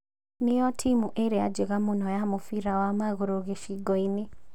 Nĩyo timũ ĩrĩa njega mũno ya mũbira wa maguru gĩcigo-inĩ